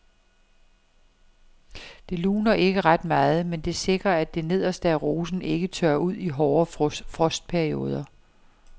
Det luner ikke ret meget, men det sikrer at det nederste af rosen ikke tørrer ud i hårde frostperioder.